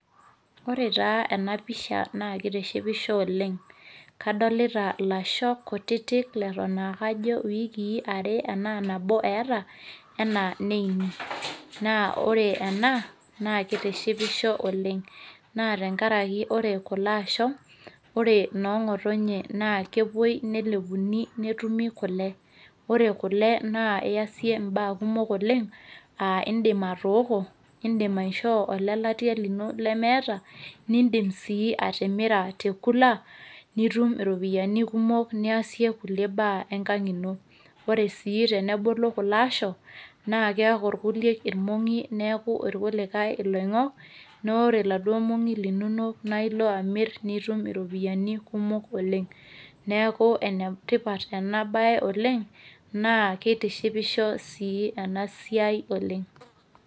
ore taa ena pisha na kitishipisho oleng. kadolita lasho kutitik leton aa kajo iwikii are ana nabo eeta anaa neini. naa oree ena naa kitishipisho oleng. naa tenkaraki ore kulo asho, ore noo ngotonye naa kepuoi nelepuni kule. ore kule na idim aitaasa baa kumok oleng, idim atooko, idim aishoo olelatia lino lemeeta. nidim sii atimira te kula, nitum iropiyiani kumok niasie kulie baa enkang ino. ore sii tenebulu kulo asho naa keeku irkulikae irmong'i neeku kulikae ilongok.na ore iladuoo mongi linonok naa ilo amir nitum iropiyiani kumok oleng. neeku ene tipat ena bae oleng, naa kitishipisho ena siai oleng.